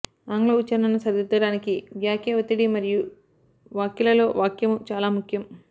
ఆంగ్ల ఉచ్ఛరణను సరిదిద్దడానికి వాక్య ఒత్తిడి మరియు వాక్యాలలో వాక్యము చాలా ముఖ్యం